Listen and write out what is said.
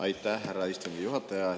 Aitäh, härra istungi juhataja!